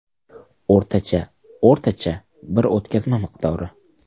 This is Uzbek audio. O‘rtacha o‘rtacha bir o‘tkazma miqdori.